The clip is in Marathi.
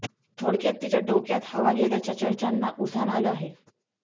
थोडक्यात तिच्या डोक्यात हवा गेल्याच्या चर्चांना उधाण आलं आहे